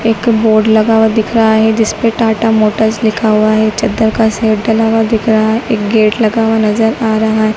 एक बोर्ड लगा हुआ दिख रहा है जिस पे टाटा मोटर्स लिखा हुआ है चद्दर का शेड का डला हुआ दिख रहा है एक गेट लगा हुआ नजर आ रहा --